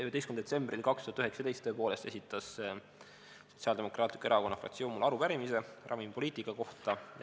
11. septembril 2019 esitas Sotsiaaldemokraatliku Erakonna fraktsioon mulle tõepoolest arupärimise ravimipoliitika kohta.